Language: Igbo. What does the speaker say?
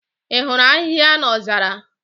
Ị hụrụ ahịhịa n'ozara?